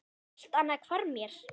Allt annað hvarf mér.